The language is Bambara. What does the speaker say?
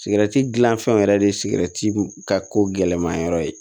Sigɛrɛti gilan fɛnw yɛrɛ de ye sigɛrɛti ka ko gɛlɛnmanyɔrɔ ye